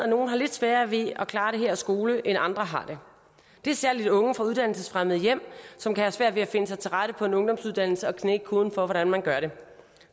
nogle har lidt sværere ved at klare det her skole end andre har det det er særlig unge fra uddannelsesfremmede hjem som kan have svært ved at finde sig til rette på en ungdomsuddannelse og knække koden for hvordan man gør det